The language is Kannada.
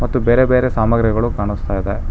ಮತ್ತು ಬೇರೆ ಬೇರೆ ಸಾಮಗ್ರಿಗಳು ಕಾಣಸ್ತಾ ಇದೆ.